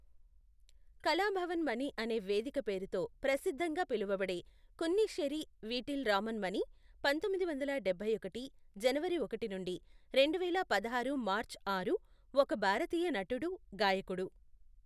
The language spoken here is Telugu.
కళాభవన్ మణి అనే వేదిక పేరుతో ప్రసిద్ధంగా పిలవబడే కున్నిశ్శేరి వీటిల్ రామన్ మని, పంతొమ్మిది వందల డబ్బై ఒకటి జనవరి ఒకటి నుండి రెండువేల పదహారు మార్చ్ ఆరు, ఒక భారతీయ నటుడు, గాయకుడు.